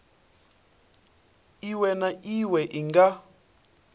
iwe na iwe i nga